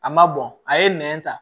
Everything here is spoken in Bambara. A ma bɔn a ye nɛn ta